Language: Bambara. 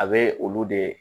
A bɛ olu de